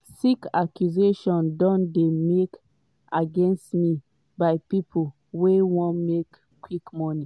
"sick accusations don dey made against me by pipo wey wan make quick money.